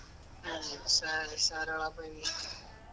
ಹಾ sorry sorry ಹೇಳುಪಾ .